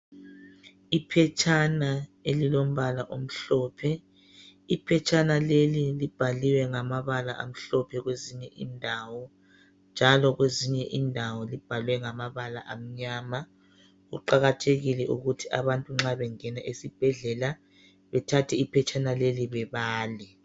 Iphetshana elilombala omhlophe. Iphetshana leli libhaliwe ngamabala amhlophe kwezinye indawo njalo kwezinye indawo libhalwe ngamabala amnyama. Kuqakathekile ukuthi abantu nxa bengena esibhedlela bethathe iphetshana leli bebale.